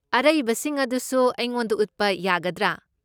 ꯑꯔꯩꯕꯁꯤꯡ ꯑꯗꯨꯁꯨ ꯑꯩꯉꯣꯟꯗ ꯎꯠꯄ ꯌꯥꯒꯗ꯭ꯔꯥ?